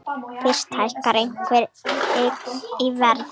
Fyrst hækkar einhver eign í verði.